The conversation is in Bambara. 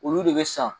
Olu de bɛ san